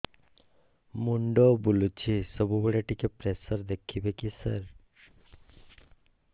ମୁଣ୍ଡ ବୁଲୁଚି ସବୁବେଳେ ଟିକେ ପ୍ରେସର ଦେଖିବେ କି ସାର